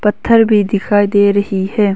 पत्थर भी दिखाई दे रही है।